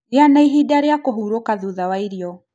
Gĩa na ihinda rĩa kũhurũka thutha wa irio